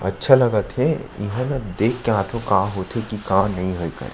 अच्छा लगत हे इहाँ ना देख के आथव का होंथे का नई होवय तेला--